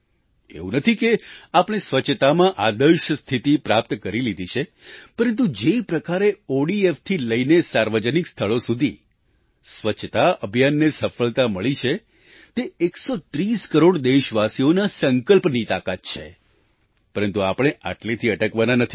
એવું નથી કે આપણે સ્વચ્છતામાં આદર્શ સ્થિતિ પ્રાપ્ત કરી લીધી છે પરંતુ જે પ્રકારે ODFથી લઈને સાર્વજનિક સ્થળો સુધી સ્વચ્છતા અભિયાનને સફળતા મળી છે તે એકસો ત્રીસ કરોડ દેશવાસીઓના સંકલ્પની તાકાત છે પરંતુ આપણે આટલેથી અટકવાના નથી